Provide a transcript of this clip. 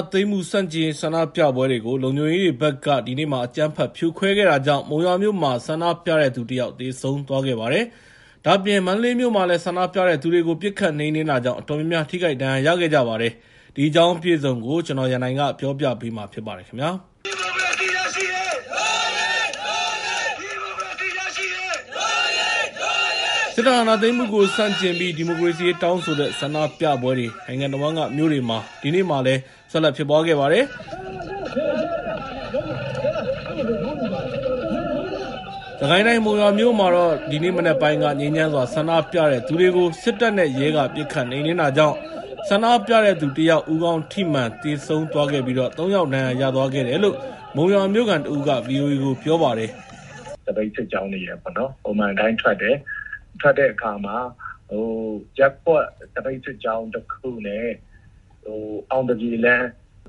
ာသိမ်းမှုဆန့်ကျင်ရေးဆန္ဒပြပွဲတွေကို လုံခြုံရေးတွေဘက်က အကြမ်းဖက်ဖြိုခွဲတာတွေကြောင့် မုံရွာမြို့မှာ ဆန္ဒပြတဲ့သူ ၁ ယောက်သေဆုံးသွားခဲ့ပါတယ်။ ဒါ့အပြင် မန္တလေးမြို့မှာလည်း ဆန္ဒပြတဲ့သူတွေကို ပစ်ခတ်နှိမ်နှင်းတာကြောင့် အတော်များများ ထိခိုက်ဒဏ်ရာရခဲ့ကြသူတွေအနက်က တယောက် သေဆုံးသွားပါတယ်။ ဒီအကြောင်းအပြည့်အစုံကို ကိုရန်နိုင်က သတင်းပေးပို့ထားပါတယ်။ စစ်တပ်အာဏာသိမ်းမှုကိုဆန့်ကျင်ပြီး ဒီမိုကရေစီရေးတောင်းဆိုတဲ့ဆန္ဒပြပွဲတွေ နိုင်ငံတဝန်းကမြို့တွေမှာ ဒီနေ့ ဆက်လက်ဖြစ်ပွားခဲ့ပါတယ်။စစ်ကိုင်းတိုင်း မုံရွာမြို့မှာတော့ ဒီနေ့မနက်ပိုင်းက ငြိမ်းချမ်းစွာ ဆန္ဒပြတဲ့သူတွေကို စစ်တပ်နဲ့ရဲက ပစ်ခတ်နှိမ်နှင်းတာကြောင့် ဆန္ဒပြတဲ့သူ ၁ ယောက် ဦးခေါင်းထိမှန် သေဆုံးသွားခဲ့ပြီး ၃ ယောက် ဒဏ်ရာရသွားခဲ့တယ်လို့ မုံရွာမြို့ခံတဦးက ဗီအိုအေကို ပြောပါတယ်။ “သပိတ်စစ်ကြောင်းတွေ ပုံမှန်အတိုင်းထွက်တဲ့အခါမှာ ရပ်ကွက်သပိတ်စစ်ကြောင်းနဲ့ အောင်သပြေလမ်း